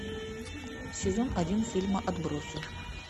сезон один фильма отбросы